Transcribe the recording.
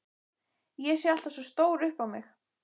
Ég sé alltaf svo stór upp á mig.